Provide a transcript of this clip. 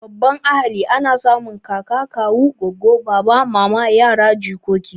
Babban ahali ana samun kaka, kawu, goggo, baba, mama, yara, jikoki